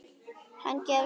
Hann gefst upp.